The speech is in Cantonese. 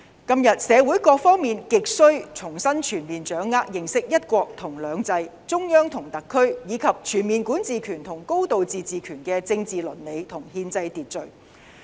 今天社會各方面亟需重新全面掌握認識"一國兩制"、中央和特區，以及全面管治權和"高度自治"權的政治倫理和憲制秩序。